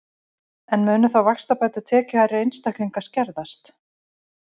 En munu þá vaxtabætur tekjuhærri einstaklinga skerðast?